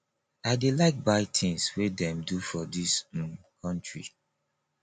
i dey like buy tins wey dem do for dis um country